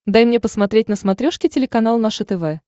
дай мне посмотреть на смотрешке телеканал наше тв